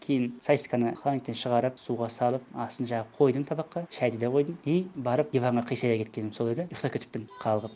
кейін сосисканы холодильниктен шығарып суға салып астын жағып қойдым табаққа шайды да қойдым и барып диванға қисая кеткенім сол еді ұйықтап кетіппін қалғып